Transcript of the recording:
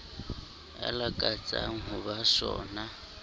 a lakatsang ho ba sona